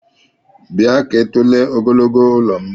Bia kaa itule ogogologo ụlọm!!